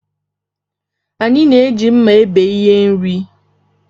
Anyị na-eji mma ebe ihe nri